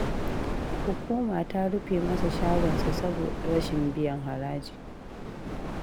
Hukuma ta rufe masa shagon sa saboda rashin biyan haraji